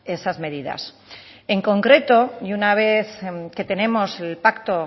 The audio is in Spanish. esas medidas en concreto y una vez que tenemos el pacto